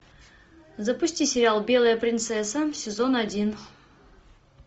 запусти сериал белая принцесса сезон один